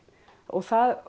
og það